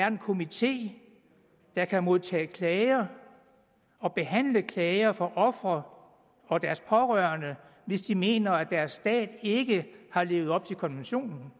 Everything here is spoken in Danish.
en komité der kan modtage klager og behandle klager fra ofre og deres pårørende hvis de mener at deres stat ikke har levet op til konventionen